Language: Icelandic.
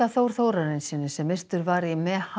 Þór Þórarinssyni sem myrtur var í